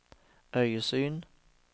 øyesyn